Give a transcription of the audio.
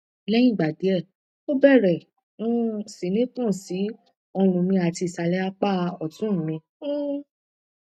leyin igba die o bere um si ni tan si orun mi ati isale apa otun mi um